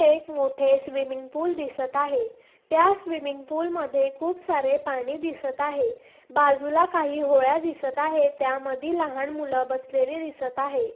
एक मोठे swimming pool दिसत आहे त्या स्विमिंग फूल मध्ये खूप सारे पाणी दिसत आहे बाजूला काही होळ्या दिसत आहे त्या मधी लहान मूल बसलेले दिसत आहे.